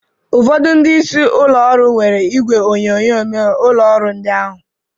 Ụfọdụ ndị isi ụlọ ọrụ nwere igwe onyonyo n'ụlọ ọrụ ndị ahụ